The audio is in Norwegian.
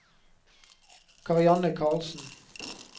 Karianne Carlsen